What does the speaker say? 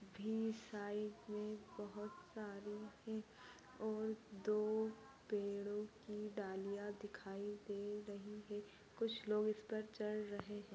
बीच side मे बोहोत सारी और दो पेड़ों की डालिया दिखाई दे रही है। कुछ लोग इस पर चढ रहे है।